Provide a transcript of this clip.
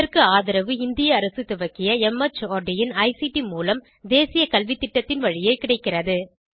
இதற்கு ஆதரவு இந்திய அரசு துவக்கிய மார்ட் இன் ஐசிடி மூலம் தேசிய கல்வித்திட்டத்தின் வழியே கிடைக்கிறது